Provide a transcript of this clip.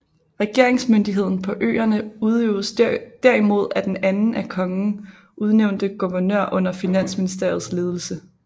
Regeringsmyndigheden på øerne udøvedes derimod af den af kongen udnævnte guvernør under finansministerens ledelse